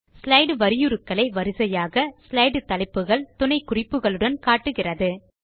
slide வரியுருக்களை வரிசையாக slide தலைப்புகள் துணை குறிப்புகளுடன் காட்டுகிறது